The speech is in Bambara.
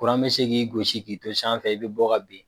Kuran bɛ se k'i gosi k'i to sanfɛ i bɛ bɔ ka bin.